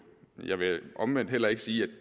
jeg vil omvendt heller ikke sige at